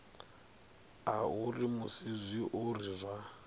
a uri musi zwiori zwa